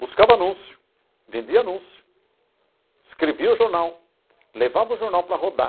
Buscava anúncio, vendia anúncio, escrevia o jornal, levava o jornal para rodar,